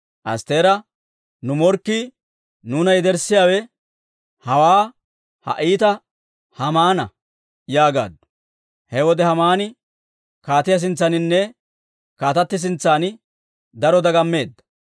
Astteera, «Nu morkkii, nuuna yederssiyaawe hawaa ha iitaa Haamana» yaagaaddu. He wode Haamani kaatiyaa sintsaaninne kaatati sintsan daro dagammeedda.